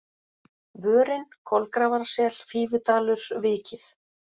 Vörin, Kolgrafarsel, Fífudalur, Vikið